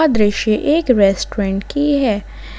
दृश्य एक रेस्टोरेंट की है।